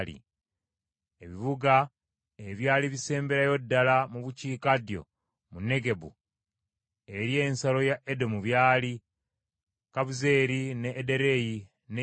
Ebibuga ebyali bisemberayo ddala mu bukiikaddyo mu Negebu eri ensalo ya Edomu byali, Kabuzeeri, n’e Ederei n’e Yaguli,